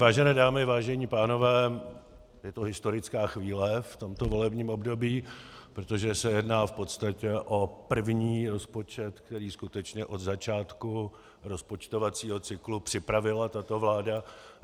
Vážené dámy, vážení pánové, je to historická chvíle v tomto volebním období, protože se jedná v podstatě o první rozpočet, který skutečně od začátku rozpočtovacího cyklu připravila tato vláda.